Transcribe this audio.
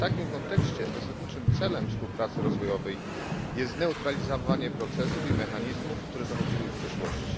W takim kontekście zasadniczym celem współpracy rozwojowej jest zneutralizowanie procesów i mechanizmów, które zachodziły w przeszłości.